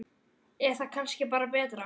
Er það kannski bara betra?